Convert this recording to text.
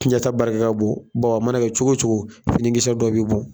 Tiɲɛta barika ka bon, a mana kɛ cogo cogo fini kisɛ dɔ be bɔn.